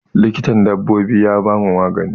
Likitan dabbobin ya bamu magani.